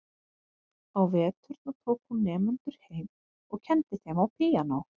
Á veturna tók hún nemendur heim og kenndi þeim á píanó.